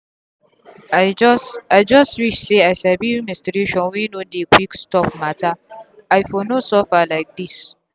i just i just wish say i sabi menstruation wey no dey quick stop matteri for no too suffer like this.